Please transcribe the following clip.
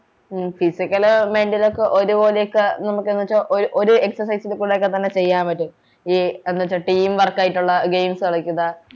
ഉം physical mental ഒക്കെ ഒരുപോലെക്കെ നമ്മക്കെന്ത്‌വെച്ചാൽ ഒരു excercise കൂടെ ഒക്കെ തന്നെ ചെയ്യാൻ പറ്റും ഈ എന്നുവെച്ച team work ആയിട്ടുള്ള games കളിക്കുക